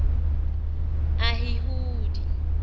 ahihudi